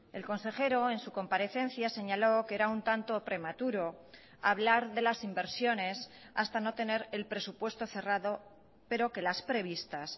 el consejero en su comparecencia señaló que era un tanto prematuro hablar de las inversiones hasta no tener el presupuesto cerrado pero que las previstas